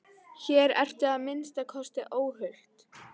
Hér ertu að minnsta kosti óhult.